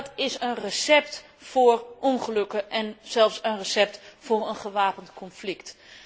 Dat is een recept voor ongelukken en zelfs een recept voor een gewapend conflict.